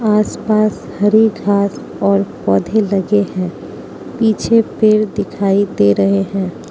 आस पास हरी घास और पौधे लगे है पीछे पेड़ दिखाई दे रहे है।